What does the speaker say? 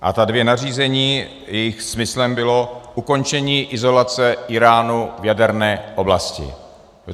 A ta dvě nařízení - jejich smyslem bylo ukončení izolace Íránu v jaderné oblasti.